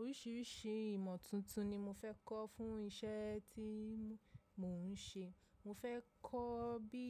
Oríṣìíríṣìí ìmọ̀ tuntun ni mo fẹ́ kọ́ fún iṣẹ́ tí mo ń ṣe. Mo fẹ́ kọ́ bí